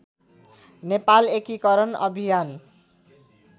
नेपाल एकीकरण अभियान